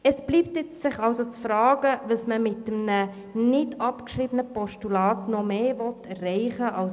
Es bleibt somit zu fragen, was man mit einem nicht abgeschriebenen Postulat zusätzlich erreichen kann.